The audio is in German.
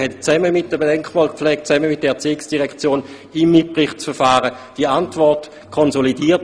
Man hat die Vorstossantwort gemeinsam mit der Denkmalpflege und der Erziehungsdirektion im Mitberichtsverfahren konsolidiert.